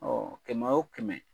kɛmɛ o kɛmɛ